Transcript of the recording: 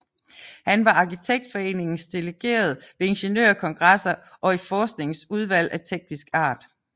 Han var Arkitektforenings delegerede ved ingeniørkongresser og i forsknings udvalg af teknisk art